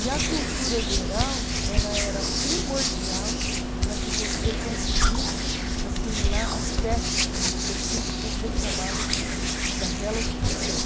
E a cultura geral ela era primordial para que você conseguisse assimilar as técnicas específicas do trabalho daquela ocupação.